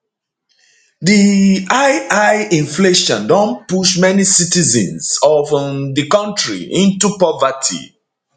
di high high inflation don push many citizens of um di kontri into poverty